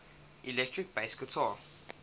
electric bass guitar